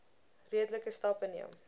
redelike stappe neem